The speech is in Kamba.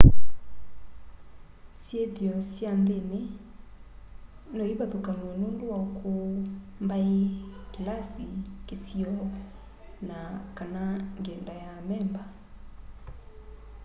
syithio sya nthini no ivathukanw'e nundu wa ukuu mbai kilasi kisio na/kana ngyenda ya amemba